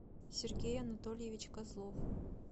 сергей анатольевич козлов